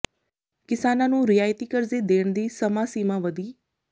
ਕਿਸਾਨਾਂ ਨੂੰ ਰਿਆਇਤੀ ਕਰਜ਼ੇ ਦੇਣ ਦੀ ਸਮਾਂ ਸੀਮਾ ਵਧੀ